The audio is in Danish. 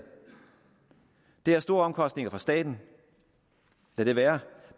det er store omkostninger for staten lad det være